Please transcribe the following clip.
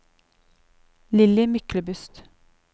Lilly Myklebust